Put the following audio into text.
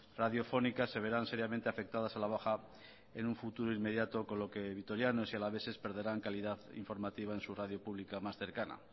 radiofónica se verán seriamente afectadas a la baja en un futuro inmediato con lo que vitorianos y alaveses perderán calidad informativa en su radio pública más cercana